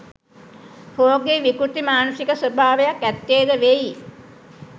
රෝගී විකෘති මානසික ස්වභාවයක් ඇත්තේ ද වෙයි.